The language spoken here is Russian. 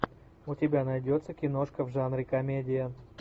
у тебя найдется киношка в жанре комедия